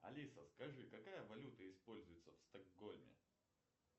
алиса скажи какая валюта используется в стокгольме